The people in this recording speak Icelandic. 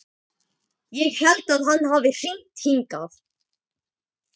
Ég held að hann hafi hringt hingað.